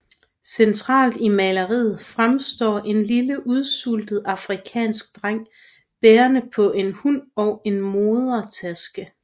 Centralt i maleriet fremstår en lille udsultet afrikansk dreng bærende på en hund og en modetaske